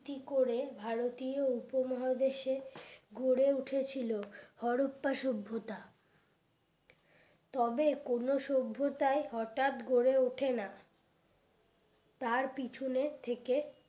কি করে ভারতীয় উপমহাদেশে গড়ে উঠেছিল হরপ্পা সভ্যতা তবে কোন সভ্যতায় হঠাৎ গড়ে ওঠে না তার পিছনে থেকে